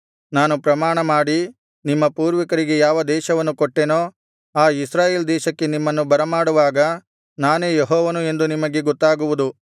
ನಾನು ಪ್ರಮಾಣಮಾಡಿ ನಿಮ್ಮ ಪೂರ್ವಿಕರಿಗೆ ಯಾವ ದೇಶವನ್ನು ಕೊಟ್ಟೆನೋ ಆ ಇಸ್ರಾಯೇಲ್ ದೇಶಕ್ಕೆ ನಿಮ್ಮನ್ನು ಬರಮಾಡುವಾಗ ನಾನೇ ಯೆಹೋವನು ಎಂದು ನಿಮಗೆ ಗೊತ್ತಾಗುವುದು